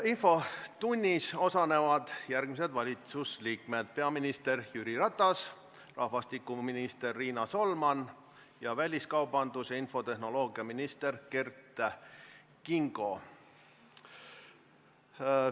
Infotunnis osalevad järgmised valitsuse liikmed: peaminister Jüri Ratas, rahvastikuminister Riina Solman ning väliskaubandus- ja infotehnoloogiaminister Kert Kingo.